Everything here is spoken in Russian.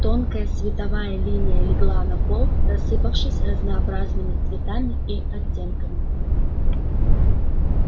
тонкая световая линия легла на пол рассыпавшись разнообразными цветами и оттенками